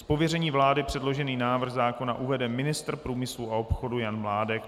Z pověření vlády předložený návrh zákona uvede ministr průmyslu a obchodu Jan Mládek.